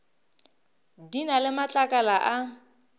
di na le matlakala a